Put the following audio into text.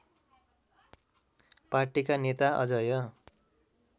पार्टीका नेता अजय